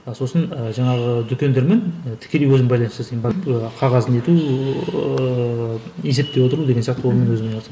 ы сосын жаңағы дүкендермен тікелей өзім байланыс жасаймын қағаз не ету ііі есептеп отыру деген сияқты онымен өзім айналысамын